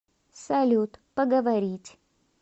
салют поговорить